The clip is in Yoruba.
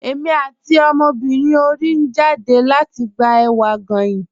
Ẹ̀mi àti ọmọbírín orí n jádẹ̀ lati gbà èwà goyín.